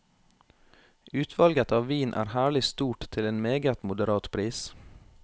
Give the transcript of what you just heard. Utvalget av vin er herlig stort til en meget moderat pris.